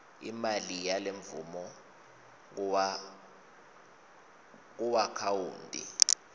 imali yalemvumo kuakhawunti